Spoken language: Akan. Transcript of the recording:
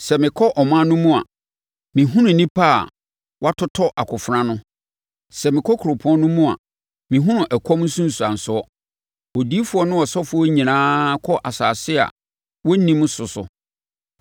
Sɛ mekɔ ɔman no mu a, mehunu nnipa a wɔatotɔ akofena ano; sɛ mekɔ kuropɔn no mu a mehunu ɛkɔm nsunsuansoɔ. Odiyifoɔ ne ɔsɔfoɔ nyinaa kɔ asase a wɔnnim so so.’ ”